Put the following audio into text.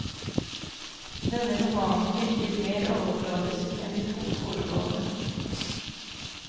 Denne romanen virker mer overfladisk enn de to foregående.